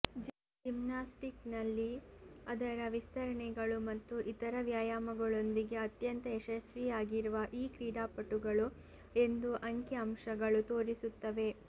ಜಿಮ್ನಾಸ್ಟಿಕ್ಸ್ನಲ್ಲಿ ಅದರ ವಿಸ್ತರಣೆಗಳು ಮತ್ತು ಇತರ ವ್ಯಾಯಾಮಗಳೊಂದಿಗೆ ಅತ್ಯಂತ ಯಶಸ್ವಿಯಾಗಿರುವ ಈ ಕ್ರೀಡಾಪಟುಗಳು ಎಂದು ಅಂಕಿಅಂಶಗಳು ತೋರಿಸುತ್ತವೆ